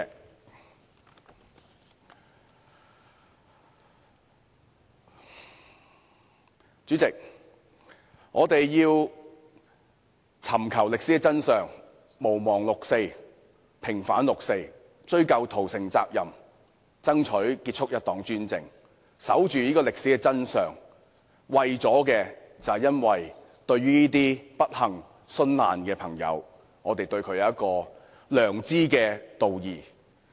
代理主席，我們要尋找歷史真相，毋忘六四，平反六四，追究屠城責任，爭取結束一黨專制，守住歷史真相，因為我們對這些不幸殉難的人有良知道義。